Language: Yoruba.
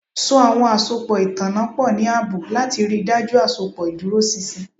So awọn asopọ itanna pọ ni aabo lati rii daju asopọ iduroṣinṣin